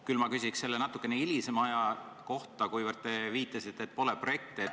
Küll ma küsiksin natukene hilisema aja kohta, kuivõrd te viitasite, et pole projekte.